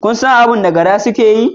Kun san abin da gara suke yi?